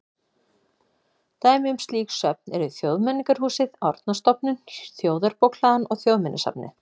Dæmi um slík söfn eru Þjóðmenningarhúsið, Árnastofnun, Þjóðarbókhlaðan og Þjóðminjasafnið.